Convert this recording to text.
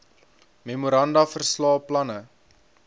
memoranda verslae planne